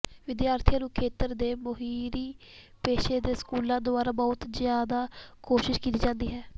ਵਿਦਿਆਰਥੀਆਂ ਨੂੰ ਖੇਤਰ ਦੇ ਮੋਹਰੀ ਪੇਸ਼ੇ ਦੇ ਸਕੂਲਾਂ ਦੁਆਰਾ ਬਹੁਤ ਜ਼ਿਆਦਾ ਕੋਸ਼ਿਸ਼ ਕੀਤੀ ਜਾਂਦੀ ਹੈ